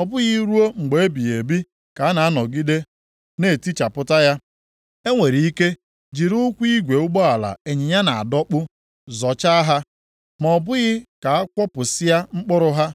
ọ bụghị ruo mgbe ebighị ebi ka a na-anọgide na-etichapụta ya. E nwere ike jiri ụkwụ igwe ụgbọala ịnyịnya na-adọkpụ zọchaa ha, ma ọ bụghị ka a kwọpịasịa mkpụrụ ha.